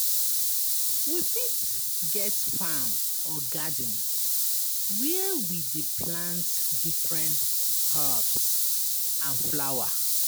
We fit get farm or garden where we dey plant different herbs and flower